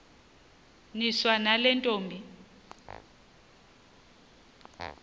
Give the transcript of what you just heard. niswa nale ntombi